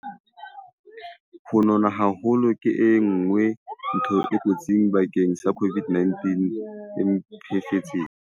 Ho nona haholo ke enngwe ntho e kotsi bakeng sa COVID-19 e mpefetseng.